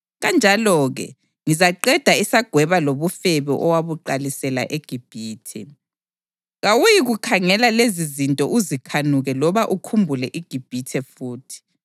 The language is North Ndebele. Kanjalo-ke ngizaqeda isagweba lobufebe owabuqalisela eGibhithe. Kawuyikukhangela lezizinto uzikhanuke loba ukhumbule iGibhithe futhi.